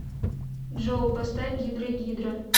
джой поставь гидрагидра